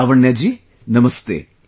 Lavanya ji, Namastey